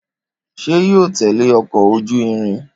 Ṣé yóò tẹle ọkọ ojú irin?